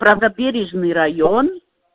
правобережный район